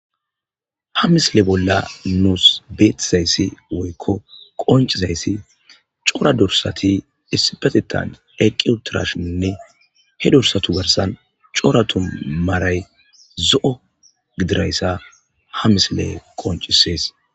ha misile bolla nuus beetizayssi woykko qoncizayssi cora dorsati issipetetan eqqiutirashinne he dorsatu garsan cora tu maray zo7o gidirayssa ha misile qoncisees